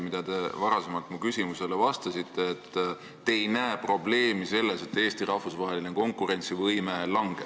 Minu eelmisele küsimusele vastates te ütlesite, et te ei näe probleemi selles, et Eesti rahvusvaheline konkurentsivõime langeb.